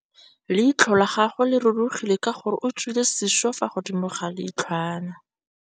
Leitlhô la gagwe le rurugile ka gore o tswile sisô fa godimo ga leitlhwana.